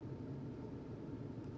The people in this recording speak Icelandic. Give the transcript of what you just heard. Voru skordýr til á undan risaeðlum?